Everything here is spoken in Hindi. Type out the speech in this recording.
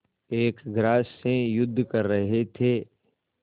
एक ग्रास से युद्ध कर रहे थे